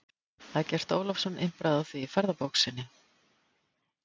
Eggert Ólafsson impraði á því í ferðabók sinni